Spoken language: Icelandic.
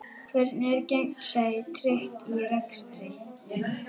Hvernig er gegnsæi tryggt í rekstri?